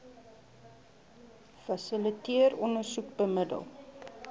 fasiliteer ondersoek bemiddel